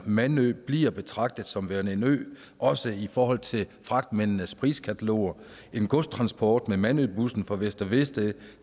mandø bliver betragtet som værende en ø også i forhold til fragtmændenes priskataloger en godstransport med mandøbussen fra vester vedsted